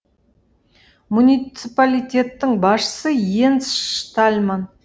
муниципалитеттің басшысы йенс штальман